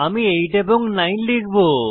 আমি 8 এবং 9 লিখব